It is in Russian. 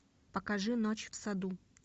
покажи ночь в саду